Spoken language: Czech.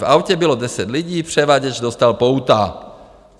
V autě bylo deset lidí, převaděč dostal pouta.